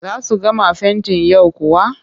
Za su gama fentin yau kuwa?